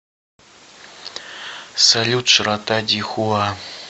салют широта дихуа